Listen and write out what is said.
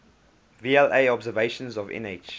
vla observations of nh